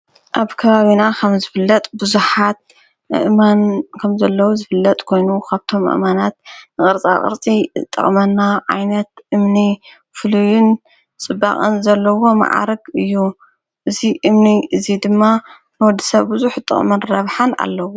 ኣብ ከባዊና ኸምዘፍለጥ ብዙሃት አእማን ከም ዘለዉ ዝፍለጥ ኮይኑ ካብቶም ኣማናት ንቕርጻ ቕርጺ ጠቕመና ዓይነት እምኒ ፍሉዩን ጽባቕን ዘለዎ መዓርግ እዩ እዙይ እምኒ እዙይ ድማ ነወዲ ሰብ ብዙኅህ ጥቕመን ረብሃ ኣለዉ።